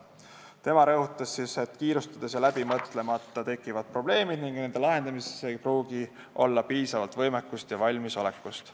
Ta rõhutas, et kiirustades ja läbi mõtlemata tegutsedes tekivad probleemid ning nende lahendamiseks ei pruugi olla piisavalt võimekust ja valmisolekut.